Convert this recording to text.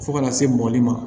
Fo ka na se mɔbili ma